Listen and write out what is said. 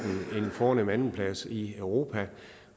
fornem andenplads i europa